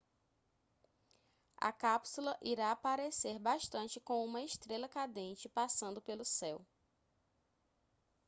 a cápsula irá parecer bastante com uma estrela cadente passando pelo céu